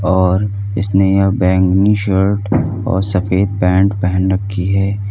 और इसने अ बैंगनी शर्ट और सफेद पैंट पहन रखी है।